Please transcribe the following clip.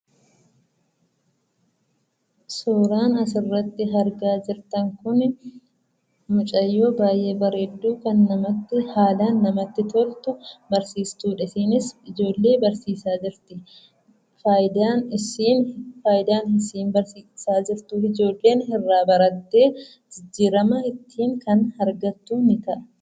Suuraan as irratti argaa jirtan kun, mucayyoo baay'ee bareedduu kan haalaan namatti toltu, barsiistuudha. Isheenis ijoollee barsiisaa jirti. Faayidaan isheen barsiisaa jirtuuf, ijoolleen irraa barattee jijjiirama kan ittin argattu ni ta'a.